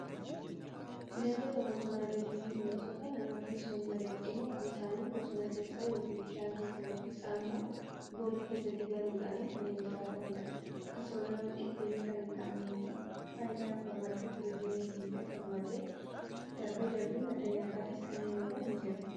bineensota boosonaa jechuun bineensota namatti osoo hin madaqin ofii isaaniin bosona keessaa, bishaan keessa yookiin immoo boolla keessatti galuudhaan kanneen jiraataniidha. akkasumas namatti dhufeenya kan hin qabnee fi faayidaa madda tuuriizmiitii fi akkasumas illee darbee darbee madda nyaataafis kanneen oolan ni jiru.